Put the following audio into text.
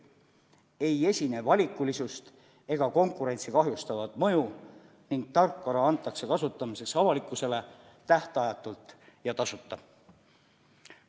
Ei esine valikulisust ega konkurentsi kahjustavat mõju ning tarkvara antakse avalikkusele kasutada tähtajatult ja tasuta.